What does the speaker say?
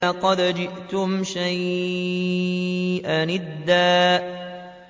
لَّقَدْ جِئْتُمْ شَيْئًا إِدًّا